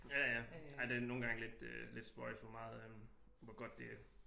Ja ja ej det er nogle gange lidt øh lidt spøjst hvor meget øh hvor godt det